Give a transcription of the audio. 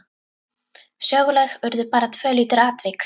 Söguleg urðu bara tvö lítil atvik.